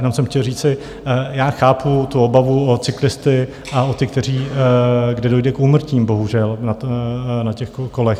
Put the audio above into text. Jenom jsem chtěl říci, já chápu tu obavu o cyklisty a o ty, kde dojde k úmrtím, bohužel, na těch kolech.